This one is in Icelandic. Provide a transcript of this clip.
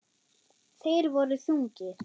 Þeir voru þungir.